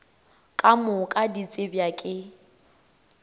ka moka di tsebja ke